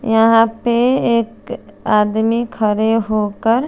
यहाँ पे एक आदमी खड़े हो कर--